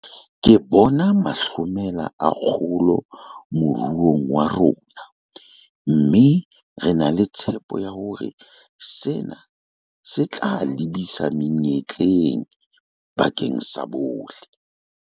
Ke bona mahlomela a kgolo moruong wa rona, mme re na le tshepo ya hore sena se tla lebisa menyetleng bakeng sa bohle.